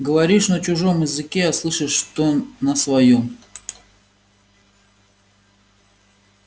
говоришь на чужом языке а слышишь что на своём